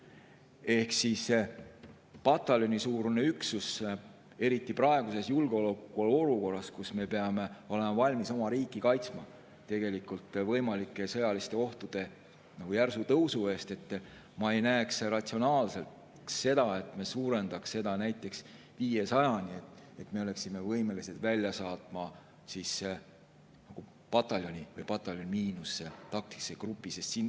Ehk mis puudutab pataljonisuurust üksust, siis eriti praeguses julgeolekuolukorras, kus me peame olema valmis oma riiki kaitsma võimalike sõjaliste ohtude järsu tõusu eest, ma ei näeks ratsionaalsena seda, et me suurendaksime seda näiteks 500‑ni, et me oleksime võimelised välja saatma pataljoni või pataljoni miinus taktikalise grupi.